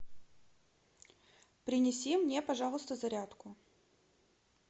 принеси мне пожалуйста зарядку